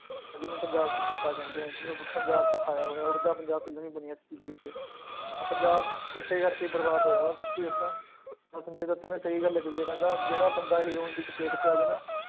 ਅਹ ਜਿਹਨੂੰ ਪੰਜਾਬ ਚ ਚਿੱਟਾ ਕਹਿੰਦੇ ਆ, ਜਿਹਨੂੰ ਆਪਾਂ ਪੰਜਾਬ ਚ ਖਾਇਆ ਹੋਇਆ ਉੱਡਦਾ ਪੰਜਾਬ film ਵੀ ਬਣੀ ਹੈ ਇਸ ਚੀਜ਼ ਪਿੱਛੇ ਤਾਂ ਪੰਜਾਬ ਚਿੱਟੇ ਕਰਕੇ ਹੀ ਬਰਬਾਦ ਹੋਇਆ ਵਾ ਸੱਚੀ ਦੱਸਾਂ ਤਾਂ ਸੰਜੇ ਦੱਤ ਨੇ ਸਹੀ ਗੱਲ ਕਹੀ ਆ ਕਹਿੰਦਾ ਜਿਹੜਾ ਬੰਦਾ ਹੀਰੋਇਨ ਦੀ ਚਪੇਟ ਚ ਆ ਜਾਏ ਨਾ,